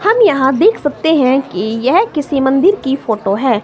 हम यहां देख सकते हैं कि यह किसी मंदिर की फोटो है।